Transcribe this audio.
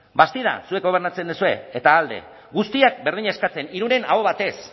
bastida zuek gobernatzen duzue eta alde guztiek berdina eskatzen irunen aho batez